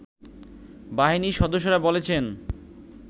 বাহিনীর সদস্যরা বলেছেন